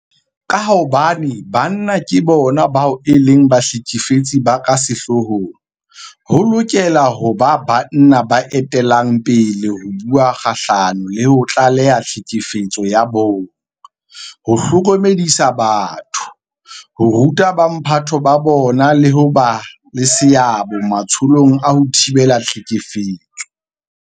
Ka hobane banna ke bona bao e leng bahlekefetsi ba ka sehloohong, ho lokela ho ba banna ba etellang pele ho bua kgahlano le ho tlaleha tlhekefetso ya bong, ho hlokomedisa batho, ho ruta bomphato ba bona le ho ba le seabo matsholong a ho thibela tlhekefetso.